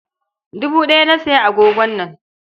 Dubu ɗaya na sayi agogon nan.